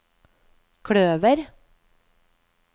kløver